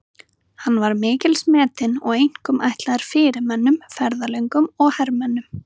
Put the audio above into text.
Hann var mikils metinn og einkum ætlaður fyrirmönnum, ferðalöngum og hermönnum.